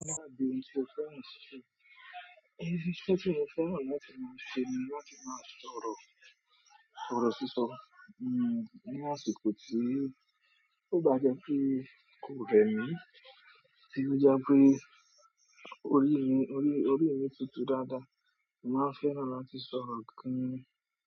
Máa di ohun tí o fẹ́ràn ṣíṣe. Iṣẹ́ tí mo fẹ́ràn láti máa ṣe ni láti máa sọ̀rọ̀ ọrọ sísọ. Ní àsìkò tí kò bá jẹ́ pé kò rẹ mí ti o jẹ pé orí mi, orí, orí mi tutù dáadáa, màá fẹ́ràn láti sọ̀rọ̀ gan.